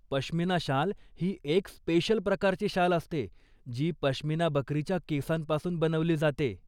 पश्मिना शाल ही एक स्पेशल प्रकारची शाल असते, जी पश्मिना बकरीच्या केसांपासून बनवली जाते.